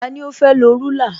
Tani ó fẹ́ lọ rúlà?